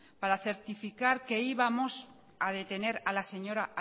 para certificar que íbamos a detener a la señora